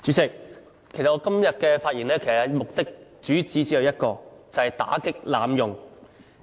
主席，我今天發言的主旨只有一個，就是打擊濫用。